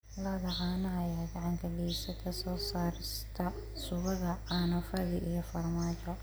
Lo'da caanaha ayaa gacan ka geysata soo saarista subagga, caano fadhi, iyo farmaajo.